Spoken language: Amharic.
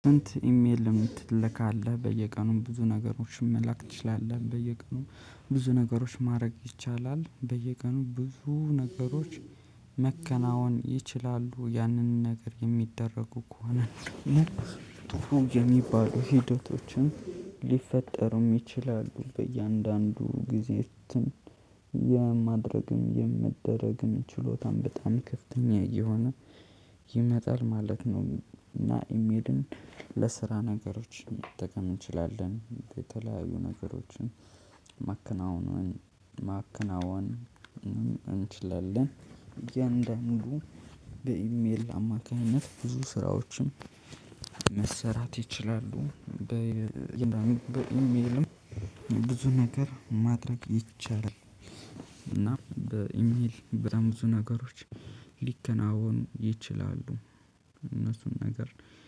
ኢሜልም ትልካለህ በየቀኑም ብዙ ነገሮችን መላክ ትችላለህ? በየቀኑም ብዙ ነገሮች ማድረግ ይቻላል በየቀኑ ብዙ ነገሮች መከናወን ይችላሉ። ያንን ነገር የሚደረጉ ከሆነ ጥሩ የሚባሉ ሂደቶችን ሊፈጠሩም ይችላሉ። በእያንዳንዱ ጊዜትን የማድረግም የምደረግም ችሎታም በጣም ከፍተኛ እየሆነ ይመጣል ማለት ነው። እና ኢሜድን ለስራ ነገሮች መጠቀም እንችላለን የተለያዩ ነገሮችን ማከናወን ማከናወን እንችላለን። የእንደ ሙሉ በኢሜል አማካኝነት ብዙ ስራዎችን መሰራት ይችላሉ። በግራ በሚልም ብዙ ነገር ማድረግ ይቻላል። እና በኢሜል በጣም ብዙ ነገሮች ሊከናወኑ ይችላሉ። እነሱን ነገር